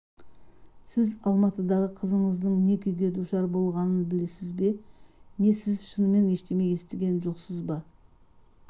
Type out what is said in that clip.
сіз алматыдағы қызыңыздың не күйге душар болғанын білесіз бе не сіз шынымен ештеңе естіген жоқсыз ба